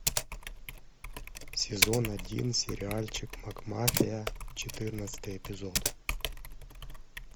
сезон один сериальчик макмафия четырнадцатый эпизод